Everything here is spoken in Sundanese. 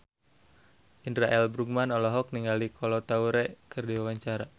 Indra L. Bruggman olohok ningali Kolo Taure keur diwawancara